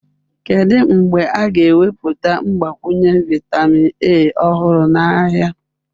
Kedu mgbe a ga-ewepụta mgbakwunye vitamin A ọhụrụ n'ahịa?